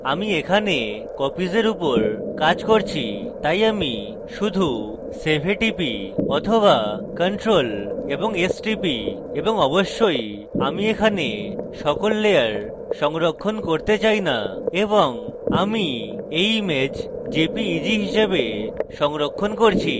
আমি এখানে কপিসের উপর কাজ করছি তাই আমি শুধু save এ টিপি বা ctrl + s টিপি এবং অবশ্যই আমি এখানে সকল লেয়ার সংরক্ষণ করতে চাই না এবং আমি এই image jpeg হিসাবে সংরক্ষণ করছি